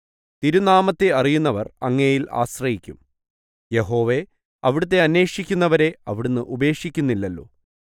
തിരുനാമത്തെ അറിയുന്നവർ അങ്ങയിൽ ആശ്രയിക്കും യഹോവേ അവിടുത്തെ അന്വേഷിക്കുന്നവരെ അവിടുന്ന് ഉപേക്ഷിക്കുന്നില്ലല്ലോ